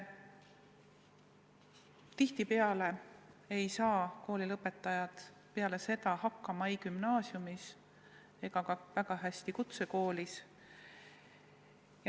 Tihtipeale ei saa koolilõpetajad eesti keeles hakkama ei gümnaasiumis ega kuigi hästi ka kutsekoolis.